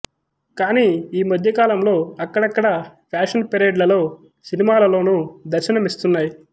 కాని ఈ మధ్యకాలంలో అక్కడక్కడా ప్యాషన్ పెరేడ్ లలో సినిమాలలోను దర్శనమిస్తున్నాయి